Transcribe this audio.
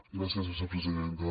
gràcies vicepresidenta